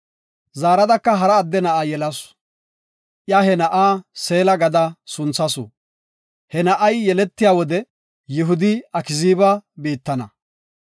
Zaaradaka hara adde na7a yelasu. Iya he na7aa Seela gada sunthasu. He na7ay yeletiya wode Yihudi Akziiba biittana.